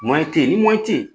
tɛ ye ni tɛ ye.